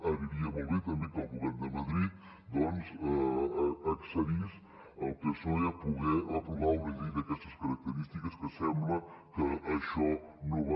aniria molt bé també que el govern de madrid doncs accedís el psoe a poder aprovar una llei d’aquestes característiques que sembla que això no va